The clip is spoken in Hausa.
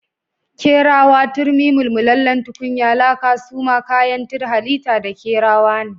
Kerawa turmi, mulmulalen tukunya laka suma kayanttrrrr halita da kerawa ne. I -